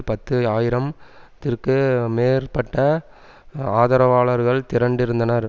பத்து ஆயிரம் திற்கு மேற்பட்ட ஆதரவாளர்கள் திரண்டிருந்தனர்